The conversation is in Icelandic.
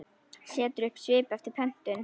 Setur upp svip eftir pöntun.